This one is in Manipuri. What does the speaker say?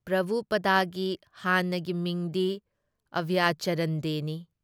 ꯄ꯭ꯔꯚꯨꯄꯥꯗꯒꯤ ꯍꯥꯟꯅꯒꯤ ꯃꯤꯡꯗꯤ ꯑꯚꯌꯆꯔꯟ ꯗꯦꯅꯤ ꯫